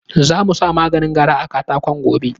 Za mu sa maganin gara a katakon gobe.